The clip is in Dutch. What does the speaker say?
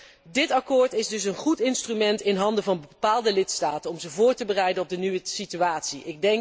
Tot slot dit akkoord is een goed instrument in handen van bepaalde lidstaten om ze voor te bereiden op de nieuwe situatie.